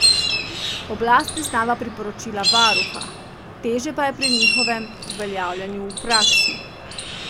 Oblast priznava priporočila varuha, težje pa je pri njihovem uveljavljanju v praksi.